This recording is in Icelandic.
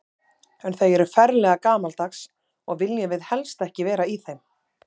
En þau eru ferlega gamaldags og við viljum helst ekki vera í þeim.